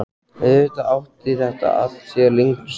Auðvitað átti þetta allt sér lengri sögu.